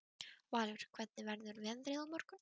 Valur, hvernig verður veðrið á morgun?